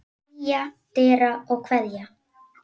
Knýja dyra og kveðja.